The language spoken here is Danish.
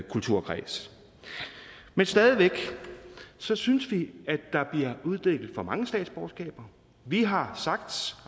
kulturkreds men stadig væk synes synes vi at der bliver uddelt for mange statsborgerskaber vi har sagt